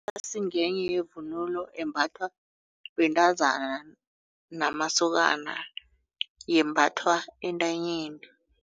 ngenye yevunulo embathwa bentazana namasokana yembathwa entanyeni.